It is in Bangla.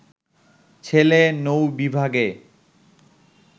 ছেলে নৌ-বিভাগে